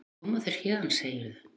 Koma þér héðan, segirðu?